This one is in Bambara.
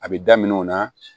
A bɛ daminɛ o la